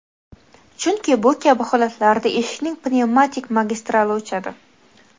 chunki bu kabi holatlarda eshikning pnevmatik magistrali o‘chadi.